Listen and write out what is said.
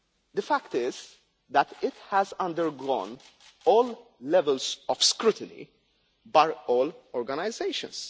The fact is that it has undergone all levels of scrutiny by all organisations.